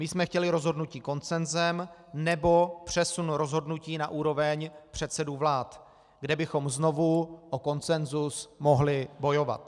My jsme chtěli rozhodnutí konsenzem nebo přesun rozhodnutí na úroveň předsedů vlád, kde bychom znovu o konsenzus mohli bojovat.